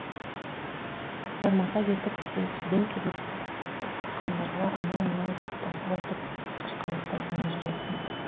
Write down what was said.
жармаса кетіп себепсізден себепсіз соқтыққандарға анау мынау деп басу айтып қашқалақтайсың да жүресің